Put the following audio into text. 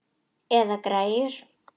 Eða græjur.